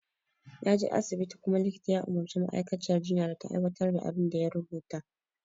Naje asibiti kuma likita ya umarci ma'aikaciyar jinya da ta aiwatar da abin da ya rubuta